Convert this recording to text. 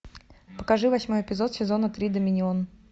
покажи восьмой эпизод сезона три доминион